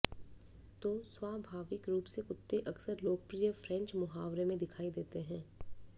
तो स्वाभाविक रूप से कुत्ते अक्सर लोकप्रिय फ्रेंच मुहावरे में दिखाई देते हैं